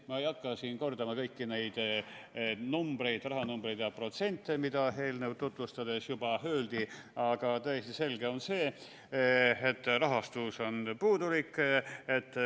Ma ei hakka siin kordama kõiki neid numbreid, rahanumbreid ja protsente, mida eelnõu tutvustades juba öeldi, aga täiesti selge on see, et rahastus on puudulik.